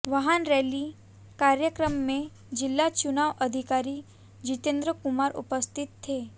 वाहन रैली कार्यक्रम में जिला चुनाव अधिकारी जितेंद्र कुमार उपस्थित थे